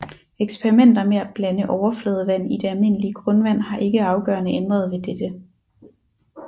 Eksperimenter med at blande overfladevand i det almindelige grundvand har ikke afgørende ændret ved dette